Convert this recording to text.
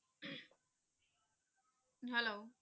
Hello